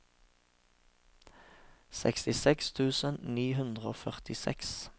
sekstiseks tusen ni hundre og førtiseks